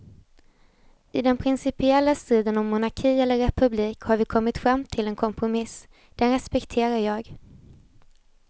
I den principiella striden om monarki eller republik har vi kommit fram till en kompromiss, den respekterar jag.